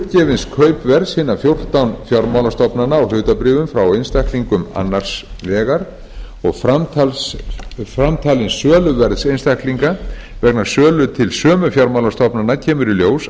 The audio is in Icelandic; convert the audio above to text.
uppgefins kaupverðs hinna fjórtán fjármálastofnana á hlutabréfum frá einstaklingum annars vegar og framtalins söluverðs einstaklinga vegna sölu til sömu fjármálastofnana kemur í ljós